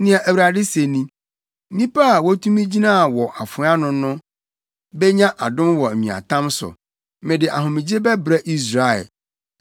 Nea Awurade se ni: “Nnipa a wotumi gyinaa wɔ afoa ano no benya adom wɔ nweatam so; mede ahomegye bɛbrɛ Israel.”